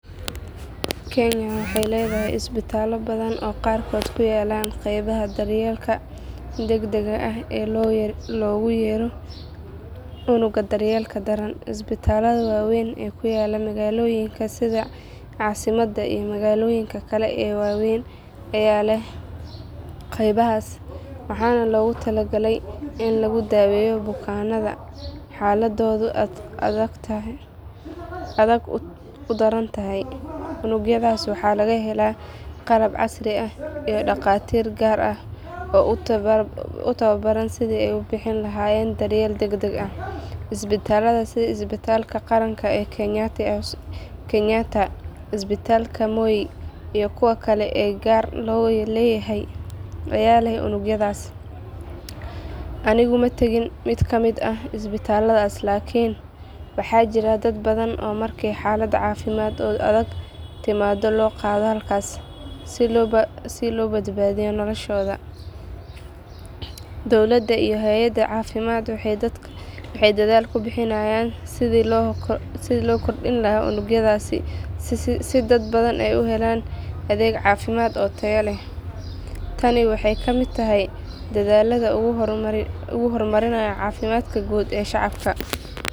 Kenya waxay leedahay isbitaallo badan oo qaarkood ay ku yaallaan qeybaha daryeelka degdegga ah ee loogu yeero unugga daryeelka daran. Isbitaallada waaweyn ee ku yaalla magaalooyinka sida caasimadda iyo magaalooyinka kale ee waaweyn ayaa leh qeybahaas, waxaana loogu talagalay in lagu daweeyo bukaanada xaaladoodu aadka u daran tahay. Unugyadaas waxaa laga helaa qalab casri ah iyo dhakhaatiir gaar ah oo u tababaran sidii ay u bixin lahaayeen daryeel degdeg ah. Isbitaallada sida isbitaalka qaranka ee kenyatta, isbitaalka mowoi, iyo kuwa kale ee gaar loo leeyahay ayaa leh unugyadaas. Anigu ma tegin mid kamid ah isbitaalladaas laakiin waxaa jira dad badan oo markay xaalad caafimaad oo adag timaado loo qaado halkaas si loo badbaadiyo noloshooda. Dowladda iyo hay’adaha caafimaad waxay dadaal ku bixinayaan sidii loo kordhin lahaa unugyadaas si dad badan ay u helaan adeeg caafimaad oo tayo leh. Tani waxay ka mid tahay dadaallada lagu horumarinayo caafimaadka guud ee shacabka.